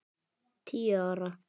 Tíu ára.